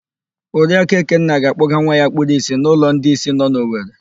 Oriaku Ekenna ga-akpọga nwa ya kpuru ìsì n'ụlọ ndị ìsì nọ na Owere.